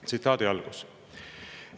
Tsitaat.